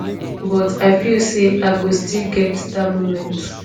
but i feel say i go still get dat moment